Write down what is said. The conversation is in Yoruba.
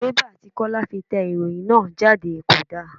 Bẹ́bà tí Kọ́lá fi tẹ ìròhìn náà jáde kò da.